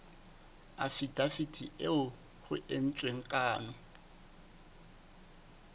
afidaviti eo ho entsweng kano